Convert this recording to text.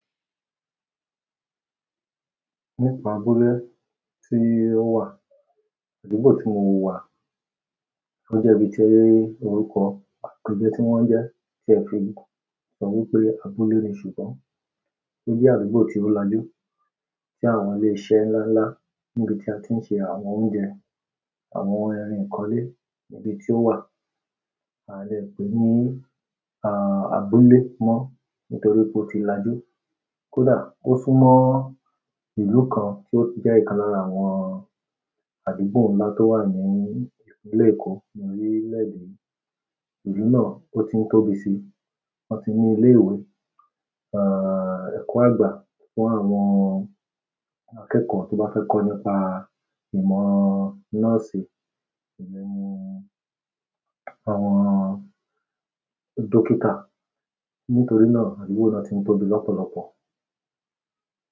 Nípa abúlé tí o wà, àdúgbò tí mo wà, to jẹ́ ibi tí ẹ rí orúkọ àti ìjẹ́ tí wọ́n jẹ́ tí ẹ fi sọ wí pé abúlé ni ṣùgbọ́n, o jẹ́ àdúgbò tí o lajú tí àwọn ilè iṣe ńlá ńlá níbi tí a ti ń ṣe àwọn oúnjẹ, àwọn irin ìkọ́lé ibi tí ó wà, a leè pè ní, à, abúlé mọ́ nítorí pé ó ti lajú. Kódà ó sún mọ́ ìlú kan to jẹ ikan lára àwọn àdúgbò ńlá to wa ni ìpínlẹ̀ Eko ni orilẹ èdè yi. Ìlú náà o ti n tóbi si, won ti mu ile ìwé ẹkọ agba fún àwọn akẹkọ to ba fẹ ko nípa ìmọ̀ nọ́ọ̀sì emí ní àwọn dókítà. Nítorí náà àdúgbò náà tí ń tóbi lọ́pọ̀lọpọ̀.